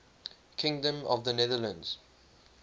kingdom of the netherlands